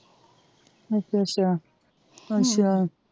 ਅੱਛਾ ਅੱਛਾ ਅੱਛਾ,